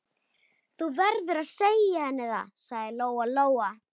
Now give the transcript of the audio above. Þú verður að segja henni það, sagði Lóa-Lóa.